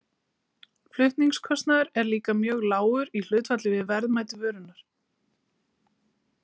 Flutningskostnaður er líka mjög lágur í hlutfalli við verðmæti vörunnar.